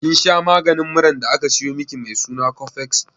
Kin masha maganin muran da aka sayo miki mai suna cofex?